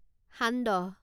সান্দহ